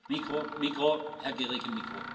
Vielen Dank, lieber Kollege.